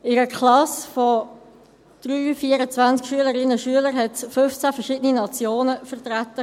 In einer Klasse mit 23 oder 24 Schülern waren 15 verschiedene Nationen vertreten.